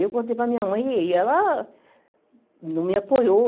Eu contei para minha mãe e ela não me apoiou.